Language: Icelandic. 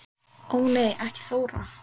Ó nei ekki Þóra